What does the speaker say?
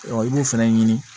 i b'o fɛnɛ ɲini